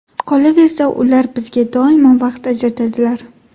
Qolaversa, ular bizga doimo vaqt ajratadilar.